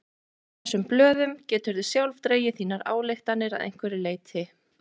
Af þessum blöðum geturðu sjálf dregið þínar ályktanir að einhverju leyti.